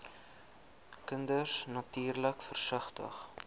kinders natuurlik versigtig